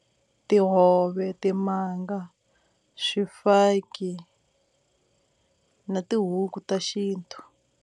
Tihove, timanga, swifaki na tihuku ta xintu.